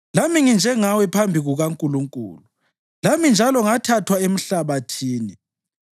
Lami nginjengawe phambi kukaNkulunkulu; lami njalo ngathathwa emhlabathini.